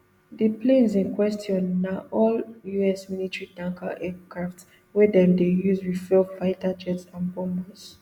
di planes in question na all us military tanker aircraft wey dem dey use refuel fighter jets and bombers